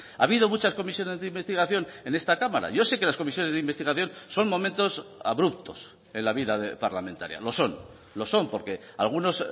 ha habido muchas comisiones de investigación en esta cámara yo sé que las comisiones de investigación son momentos abruptos en la vida parlamentaria lo son lo son porque algunos